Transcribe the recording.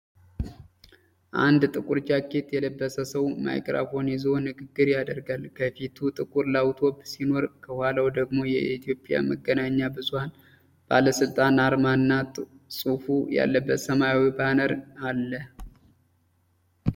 አንድ ጥቁር ጃኬት የለበሰ ሰው ማይክሮፎን ይዞ ንግግር ያደርጋል። ከፊቱ ጥቁር ላፕቶፕ ሲኖር፣ ከኋላው ደግሞ የኢትዮጵያ መገናኛ ብዙኃን ባለሥልጣን አርማ እና ጽሑፍ ያለበት ሰማያዊ ባነር አለ።